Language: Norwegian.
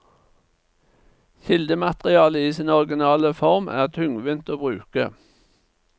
Kildematerialet i sin originale form er tungvint å bruke.